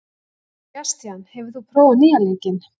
Sebastian, hefur þú prófað nýja leikinn?